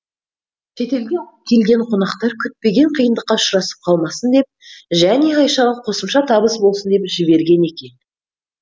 шетелден келген қонақтар күтпеген қиындыққа ұшырасып қалмасын деп және айшаға қосымша табыс болсын деп жіберген екен